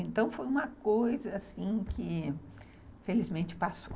Então, foi uma coisa que, felizmente, passou.